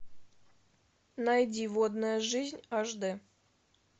найди водная жизнь аш д